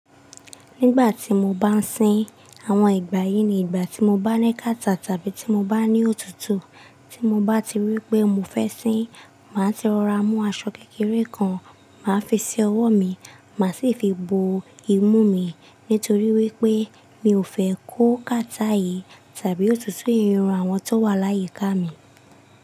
Nígbà tí mo bá ń sin, àwọn ìgbà yìí ni ìgbà tí mo bá ní kàtá tàbí tí mo bá ní òtútù. Tí mo bá ti rí pé mo fẹ́ sin, màá ti rọra mú aṣọ kékeré kan, màá fi sí ọwọ́ mi, màá sì fi bo imú mi nítorí wípé mi ò fẹ́ kó kàtá yìí tàbí òtútù yìí ran àwọn tó wà láyi ká mi.